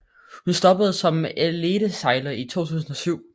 Hun stoppede som elitesejler i 2007